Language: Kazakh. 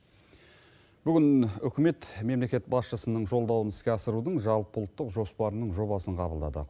бүгін үкімет мемлекет басшысының жолдауын іске асырудың жалпыұлттық жоспарының жобасын қабылдады